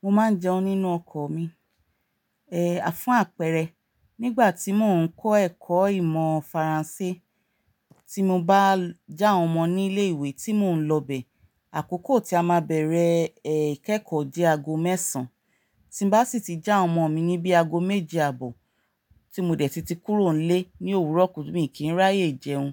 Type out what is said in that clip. Mo máa ń jẹun nínú ọkọ̀ mi, fún àpẹẹrẹ nígbà tí mò ń kọ́ ẹ̀kọ́ ìmọ̀ Faransé tí mo bá já àwọn ọmọ ní ilé ìwé tí mò ń lọ bẹ̀, àkókò tí a máa bẹ̀rẹ̀, eh, ìkẹ́kọ̀ọ́ jẹ́ ago mẹ́sàn. Tí n bá sì ti já àwọn ọmọ mi níbí ago méje àbò, tí mo dẹ̀ ti ti kúrò nílé ní òwúrọ̀ kù bí i kí ń ráyè jẹun.